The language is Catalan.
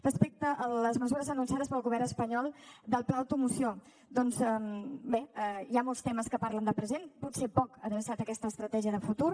respecte a les mesures anunciades pel govern espanyol del pla automoció doncs bé hi ha molts temes que parlen de present potser poc adreçat a aquesta estratègia de futur